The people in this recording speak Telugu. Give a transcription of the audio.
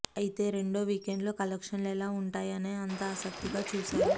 ఐతే రెండో వీకెండ్లో కలెక్షన్లు ఎలా ఉంటాయా అని అంతా ఆసక్తిగా చూశారు